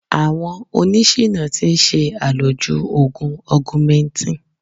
Àwọn oní ṣìná ti ń ṣe àlòjù Ògùn Ọgumẹntìn.